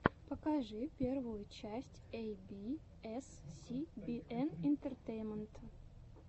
покажи первую часть эй би эс си би эн интертеймента